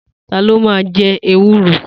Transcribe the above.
Ta ló ma jẹ ewúro?